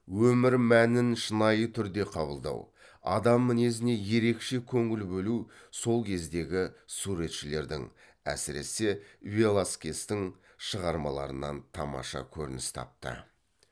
өмір мәнін шынайы түрде қабылдау адам мінезіне ерекше көңіл бөлу сол кездегі суретшілердің әсіресе веласкестің шығармаларынан тамаша көрініс тапты